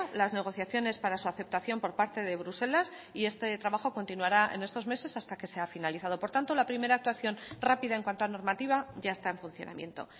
las negociaciones para su aceptación por parte de bruselas y este trabajo continuará en estos meses hasta que sea finalizado por tanto la primera actuación rápida en cuanto a normativa ya está en funcionamiento